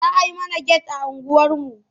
Za a yi mana get a unguwarmu.